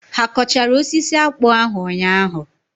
Ha kọchara osisi akpụ ahụ ụnyaahụ?